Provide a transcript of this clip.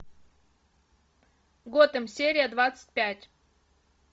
готэм серия двадцать пять